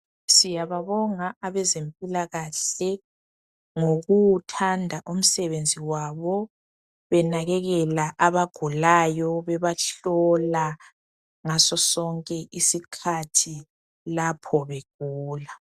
Siyababonga abezempilakahe ngokuwuthanda umsebenzi wabo benakekela abagulayo bebahlola ngaso sonke isikhathi lapho begula.